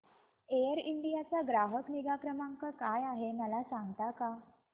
air India चा ग्राहक निगा क्रमांक काय आहे मला सांगता का